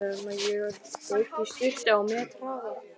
Ég rauk í sturtu á methraða.